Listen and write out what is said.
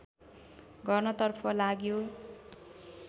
गर्नतर्फ लाग्यो